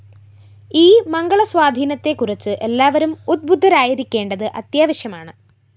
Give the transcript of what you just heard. ഈ മംഗളസ്വാധീനത്തെക്കുറിച്ച് എല്ലാവരും ഉദ്ബുദ്ധരായിരിക്കേണ്ടത് അത്യാവശ്യമാണ്